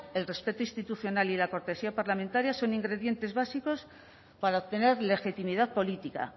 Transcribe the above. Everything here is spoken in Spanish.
el respeto institucional y la cortesía parlamentaria son ingredientes básicos para obtener legitimidad política